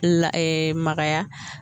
la magaya.